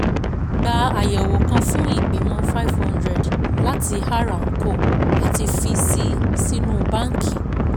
Gba àyẹ̀wò kan fún Ìgbìmọ̀ five hundred láti R and Co àti fi sii sínú báǹkì